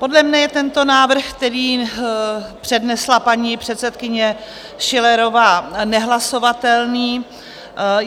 Podle mne je tento návrh, který přednesla paní předsedkyně Schillerová, nehlasovatelný.